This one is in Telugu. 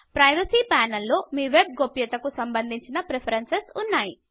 ప్రైవసీ ప్యానెల్ లో మీ వెబ్ గోప్యతాకు సంబంధించిన ప్రిఫరేన్సుస్ ఉన్నాయి